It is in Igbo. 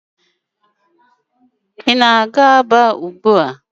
Ị na-aga Aba ugbua?